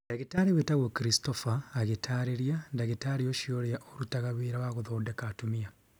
Ndagĩtarĩ wĩtagwo Christopher agĩtaarĩria, Ndagĩtarĩ ũcio ũrĩa ũrutaga wĩra wa kũthondeka atumia.